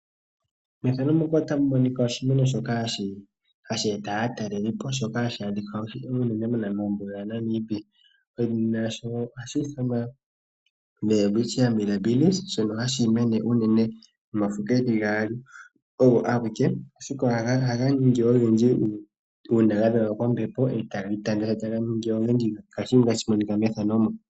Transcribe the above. Mefano muka otamu monika oshimeno shoka hashi eta aatalelipo. Shoka hashi adhika unene mombuga yaNamibia. Edhina lyasho ohashi ithanwa Welwitchia Mirrabills shono hashi mene omafo geli gaali ogo ageke. Ashike ohaga ningi ogendji una gadhegwa kombepo taga itana taga ningi ogendji. Ngaashi tashi monika mefano mu.